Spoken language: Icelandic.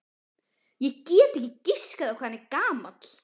Ég get ekki giskað á hvað hann er gamall.